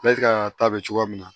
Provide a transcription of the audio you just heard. Ne ka ta bɛ cogoya min na